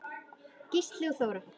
Gísli og Þóra.